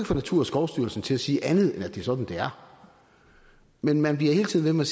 få naturstyrelsen til at sige andet end at det er sådan det er men man bliver hele tiden